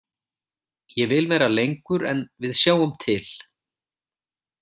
Ég vil vera lengur en við sjáum til.